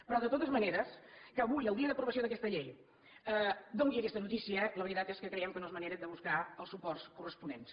però de totes maneres que avui el dia d’aprovació d’aquesta llei doni aquesta notícia la veritat és que creiem que no és manera de buscar els suports corresponents